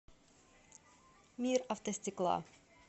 мир автостекла